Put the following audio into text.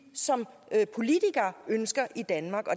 som politikere ønsker i danmark og